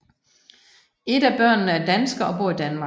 Et af børnene er dansker og bor i Danmark